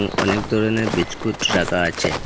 অনেক ধরনের বীচকুট রাখা আছে।